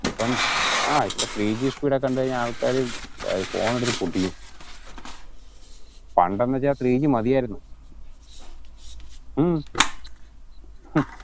ഇപ്പം ആ ഇപ്പൊ ത്രീ ജി speed ഒക്കെ കണ്ടു കഴിഞ്ഞ ആള്ക്കാര് phone എടുത്ത് പൊട്ടിക്കും പണ്ടെന്നു വച്ച ത്രീ ജി മതിയാരുന്നു ഉം